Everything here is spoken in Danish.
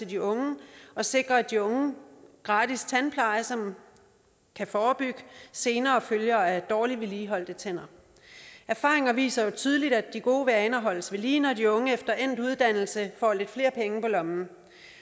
de unge og sikrer de unge gratis tandpleje som kan forebygge senere følger af dårligt vedligeholdte tænder erfaringerne viser jo tydeligt at de gode vaner holdes ved lige når de unge efter endt uddannelse får lidt flere penge på lommen